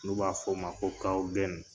N'u b'a f'o ma ko